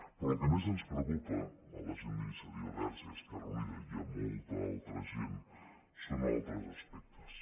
però el que més ens preocupa a la gent d’iniciativa verds i esquerra unida i a molta altra gent són altres exemples